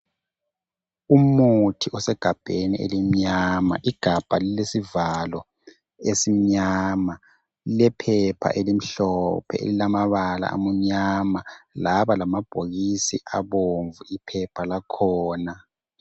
Umuthi osegabheni elimnyama, igabha lilesivalo esimnyama, lilephephe elimhlophe elilamabala amnyama laba lamabhokisi abomvu iphepha lakhona.